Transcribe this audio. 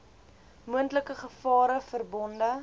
moontlike gevare verbonde